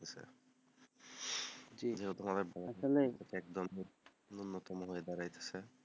জি উন্নতমানের দাড়াইছে,